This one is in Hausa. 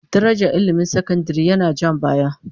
Darajar ilmin sakandare yana ja baya